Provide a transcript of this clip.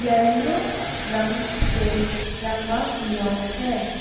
Yellow रंग से रंगा हुआ है।